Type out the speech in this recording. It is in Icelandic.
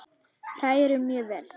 Hrærið mjög vel.